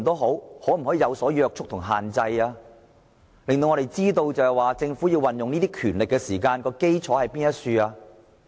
可否施加若干約束及限制，令我們知道政府所運用權力的基礎是甚麼？